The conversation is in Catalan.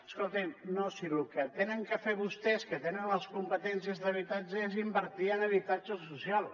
escolti’m no si el que tenen a fer vostès que tenen les competències d’habitatge és invertir en habitatge social